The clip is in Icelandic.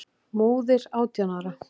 Móðir átján ára?